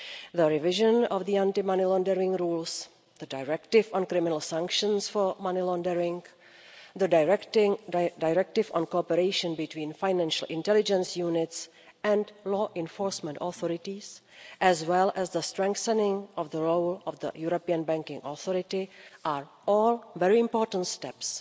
The revision of the anti money laundering rules, the directive on criminal sanctions for money laundering, the directive on cooperation between financial intelligence units and law enforcement authorities, as well as the strengthening of the role of the European Banking Authority, are all very important steps.